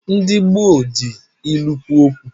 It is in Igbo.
Ndi gboo ji ilu kwo uokwu